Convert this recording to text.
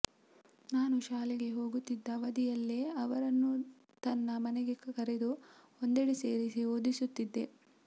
ನಾನು ಶಾಲೆಗೆ ಹೋಗುತ್ತಿದ್ದ ಅವಧಿಯಲ್ಲೇ ಅವರನ್ನೂ ತನ್ನ ಮನೆಗೆ ಕರೆದು ಒಂದೆಡೆ ಸೇರಿಸಿ ಓದಿಸುತ್ತಿದ್ದೆ